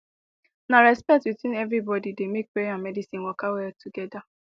na respect between everybody dey make prayer and medicine waka well together